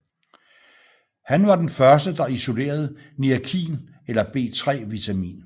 Han var den første der isolerede niacin eller B3 vitamin